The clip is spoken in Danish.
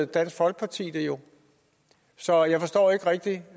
dansk folkeparti det jo så jeg forstår ikke rigtig